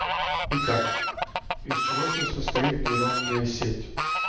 итак из чего же состоит нейронная сеть